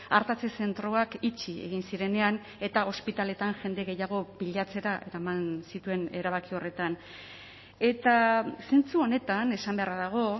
artatze zentroak itxi egin zirenean eta ospitaletan jende gehiago pilatzera eraman zituen erabaki horretan eta zentzu honetan esan beharra dago